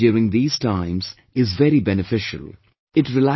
Deep breathing during these times is very beneficial